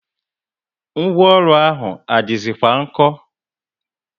Ngwaọrụ ahụ adizi kwa nko?